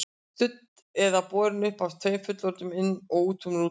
Studd eða borin uppi af tveimur fullorðnum, inn og út úr rútunni.